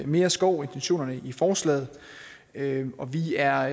mere skov intentionerne i forslaget og vi er